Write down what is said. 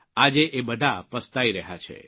આજે એ બધા પસ્તાઇ રહ્યા છે